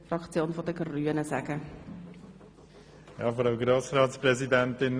Bauen für die Grünen hat zunächst das Wort.